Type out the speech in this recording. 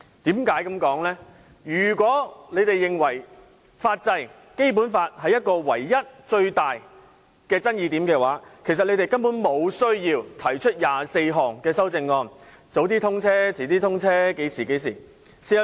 如果他們認為最大爭議點在於法制及《基本法》有關條文，他們其實無需提出24項修正案，建議提早通車、延遲通車，諸如此類。